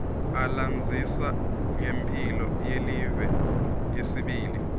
alandzisa ngemphi yelive yesibili